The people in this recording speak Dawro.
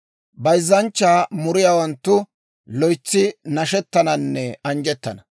Bayzzanchchaa muriyaawanttu loytsi nashettananne anjjettana.